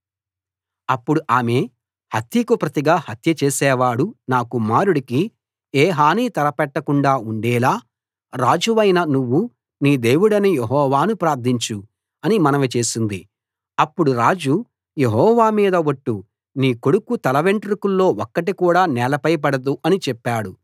అప్పుడు ఆమె హత్యకు ప్రతిగా హత్య చేసేవాడు నా కుమారుడికి ఏ హానీ తలపెట్టకుండా ఉండేలా రాజవైన నువ్వు నీ దేవుడైన యెహోవాను ప్రార్థించు అని మనవి చేసింది అప్పుడు రాజు యెహోవా మీద ఒట్టు నీ కొడుకు తలవెంట్రుకల్లో ఒక్కటి కూడా నేలపై పడదు అని చెప్పాడు